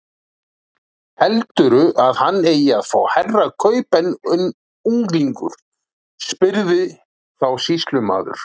Heldurðu að hann eigi að fá hærra kaup en unglingur? spurði þá sýslumaður.